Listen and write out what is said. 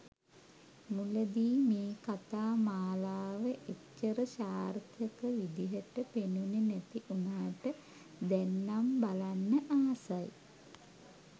මුලදී මේ කතා මාලාව එච්චර සාර්ථක විදිහට පෙනුනෙ නැති උනාට දැන්නම් බලන්න ආසයි.